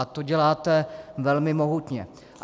A to děláte velmi mohutně.